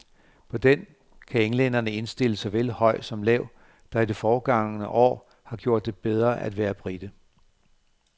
På den kan englænderne indstille såvel høj som lav, der i det forgangne år har gjort det bedre at være brite.